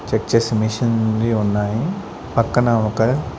Check చేసే machine వి ఉన్నాయి పక్కన ఒక.